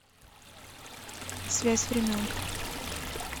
связь времен